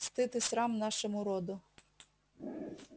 стыд и срам нашему роду